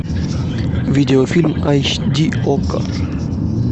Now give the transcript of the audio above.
видео фильм айч ди окко